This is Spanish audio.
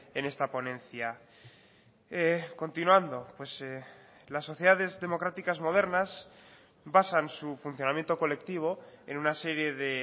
en esta ponencia continuando las sociedades democráticas modernas basan su funcionamiento colectivo en una serie de